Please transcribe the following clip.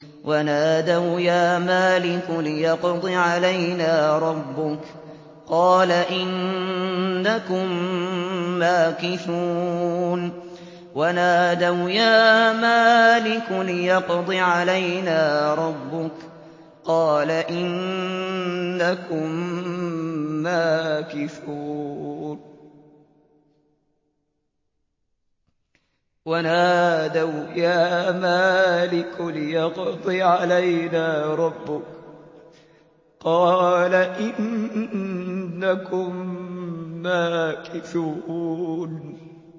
وَنَادَوْا يَا مَالِكُ لِيَقْضِ عَلَيْنَا رَبُّكَ ۖ قَالَ إِنَّكُم مَّاكِثُونَ